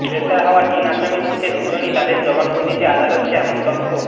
গ্রেপ্তার হওয়া তিন আসামির মধ্যে দুজনই তাঁদের জবানবন্দিতে আদালতকে এমন তথ্য